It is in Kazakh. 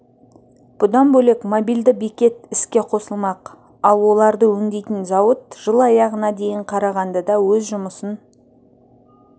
бұдан бөлек мобильді бекет іске қосылмақ ал оларды өңдейтін зауыт жыл аяғына дейін қарағандыда өз жұмысын